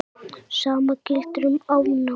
Sama gildir um afnámu.